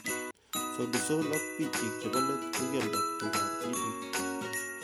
SAUTI SOL AK BIK CHIK CHEBO LET KOKIALDA TUTK AB ITIK.